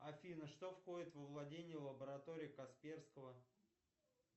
афина что входит во владение лаборатории касперского